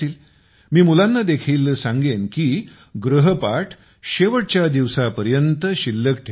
मी मुलांना देखील सांगेन की गृहपाठ शेवटच्या दिवसापर्यंत शिल्लक ठेवू नका